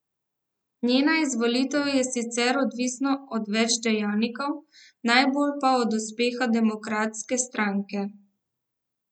Njena izvolitev je sicer odvisna od več dejavnikov, najbolj pa od uspeha Demokratske stranke.